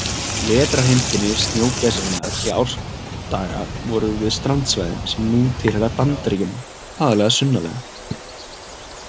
Vetrarheimkynni snjógæsarinnar í árdaga voru við strandsvæðin sem nú tilheyra Bandaríkjunum, aðallega sunnarlega.